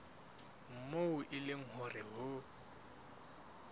moo e leng hore ho